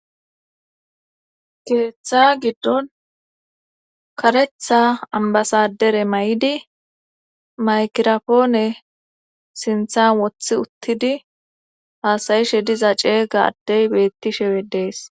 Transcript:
keeththa giddon karetha ambasadere may7idi maykirafoone sinthan wothi uttidi haasayishe diza ceega addey beettishewe dees